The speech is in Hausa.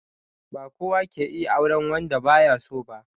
Ba kowa ke iya auren wanda ba ya so ba